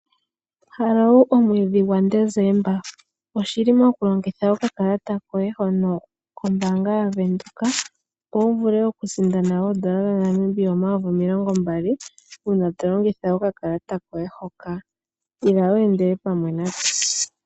Haloo omweedhi gwa Desemba, oshili oku longitha okakalata koye hono kombaanga ya Venduka opo wu vule oku sindana N$ 20000 uuna to longitha okakalata koye hoka. Ila weendele pamwe natse!